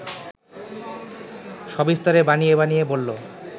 সবিস্তারে বানিয়ে বানিয়ে বলল